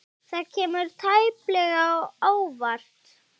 Það kemur tæplega á óvart.